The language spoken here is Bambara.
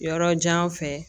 Yɔrɔ jan fɛ